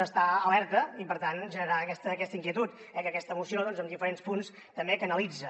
a estar alerta i per tant genera aquesta inquietud que aquesta moció en diferents punts també canalitza